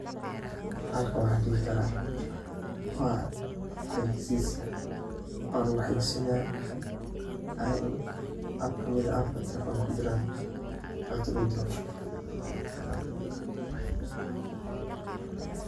bahalkan waxa dihi kara xaysis luguxayisinayo abb kamid ah kuwa telefonka kujiran oo lacagta lugudiro.